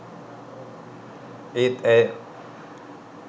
ඒත් ඇය